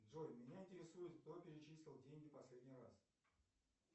джой меня интересует кто перечислил деньги последний раз